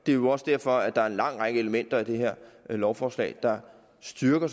det er jo også derfor at der er en lang række elementer i det her lovforslag der styrker